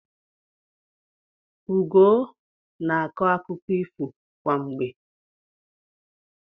Ugoo na-akọ akụkọ ifo kwa mgbe.